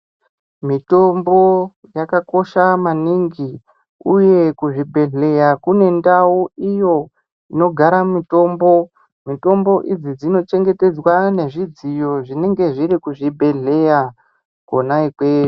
Mitombo yakakosha maningi uye kuzvibhedhleya kune ndau iyo inogara mutombo mitombo idzi dzinochengetedzwa nezvidziyo zvinenge zviri kuzvibhedhleya kwona ikweyo.